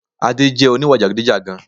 Adé jẹ oníwà jàgidijàgan